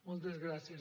moltes gràcies